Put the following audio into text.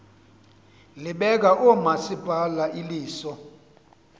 libeka oomasipala iliso